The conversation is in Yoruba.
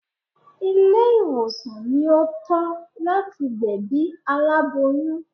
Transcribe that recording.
Ilé ìwòsàn ni ó tọ́ láti gbẹ̀bí aláboyún